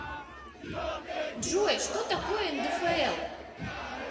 джой что такое ндфл